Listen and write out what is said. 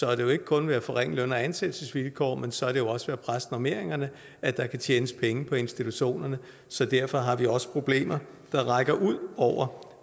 er det jo ikke kun ved at forringe løn og ansættelsesvilkår men så er det jo også ved at presse normeringerne at der kan tjenes penge på institutionerne så derfor har vi også problemer der rækker ud over